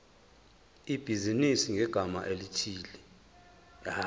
ibhizinisi ngegama elithi